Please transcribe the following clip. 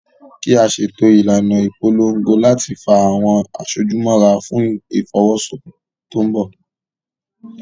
Kí a ṣètò ìlànà ìpolongo láti fa àwọn aṣojú mọ́ra fún Ìfọwọ́sí tó ń bọ̀